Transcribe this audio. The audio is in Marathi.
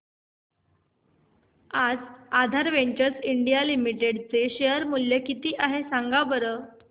आज आधार वेंचर्स इंडिया लिमिटेड चे शेअर चे मूल्य किती आहे सांगा बरं